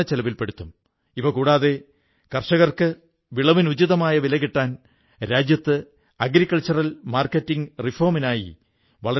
ഈ ലൈബ്രറിയിൽ ആധ്യാത്മികം ആയുർവ്വേദ ചികിത്സ എന്നിവയോടൊപ്പം മറ്റു പല വിഷയങ്ങളെക്കുറിച്ചുമുള്ള പുസ്തകങ്ങൾ ഉണ്ട്